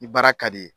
I baara ka di